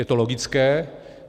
Je to logické.